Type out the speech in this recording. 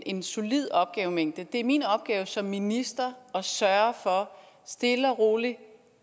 en solid opgavemængde det er min opgave som minister at sørge for stille og roligt